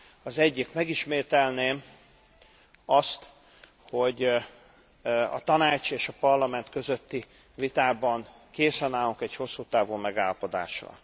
Az egyik megismételném azt, hogy a Tanács és a Parlament közötti vitában készen állunk egy hosszú távú megállapodásra.